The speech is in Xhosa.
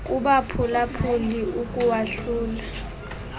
kubaphula phuli ukuwahlula